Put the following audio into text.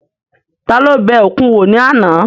Ta ló bẹ òkun wò ní àná?